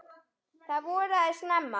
Það voraði snemma.